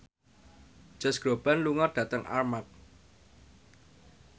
Josh Groban lunga dhateng Armargh